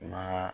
Ma